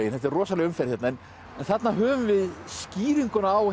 þetta er rosaleg umferð hérna en þarna höfum við skýringuna á